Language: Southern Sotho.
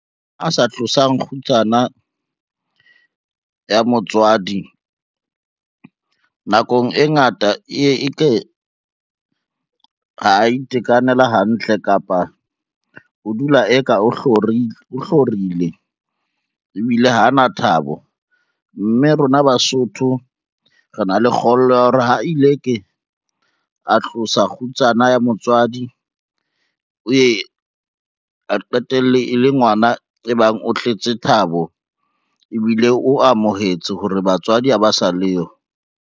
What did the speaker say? A sa tlosang kgutsana ya motswadi nakong e ngata e ye e ke ha itekanela hantle kapa o dula eka o hlorile ebile ha na thabo, mme rona Basotho re na le kgollwa ya hore ha ile ke a tlosa kgutsana ya motswadi o ye a qetelle e le ngwana e bang o tletse thabo, ebile o amohetse hore batswadi ha ba sa leyo.